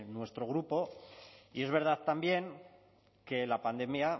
nuestro grupo y es verdad también que la pandemia